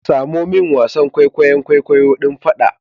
Samo min wasan kwaikwayon kwaikwayo din fada